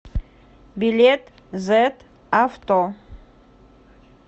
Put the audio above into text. билет зэт авто